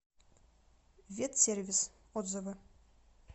ветсервис отзывы